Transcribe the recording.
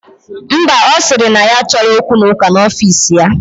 Ḿbà, osiri na ya achoro okwu na uka na ofis ya.